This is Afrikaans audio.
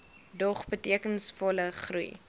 dog betekenisvolle groei